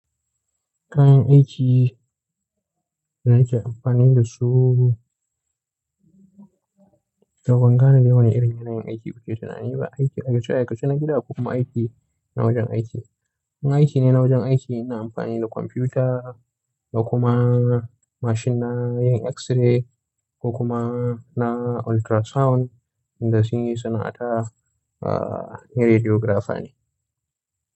Kayan aiki da ake amfani da su. Ban gane dai daban irin yanayin aiki kuke tunani ba. Aiki a cika cika na gida kuma aiki na wajen aiki. Na aiki ne na wajen aiki ina amfani da kwamfuta da kuma mashin na yin x-ray da kuma na ultrasound inda suke yi sana'a ne radiographer ne.